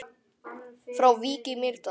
Frá Vík í Mýrdal